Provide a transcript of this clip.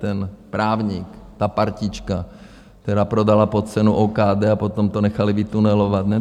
Ten právník, ta partička, která prodala pod cenou OKD, a potom to nechali vytunelovat.